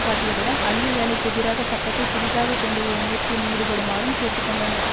காட்டியதுடன் அழிவுவேலைக்கெதிராக சட்டத்தை புதிதாக கொண்டுவரும் முயற்சியில் ஈடுபடுமாறும் கேட்டு கொண்டனர்